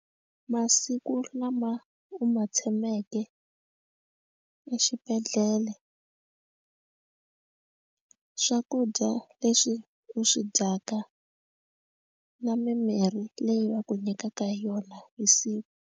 Masiku lama u ma tshameke exibedhlele swakudya leswi u swi dyaka na mimirhi leyi va ku nyikaka hi yona hi siku.